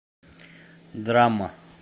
драма